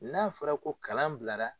N'a fɔra ko kalan bilara